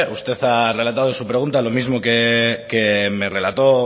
usted ha relatado en su pregunta lo mismo que me relató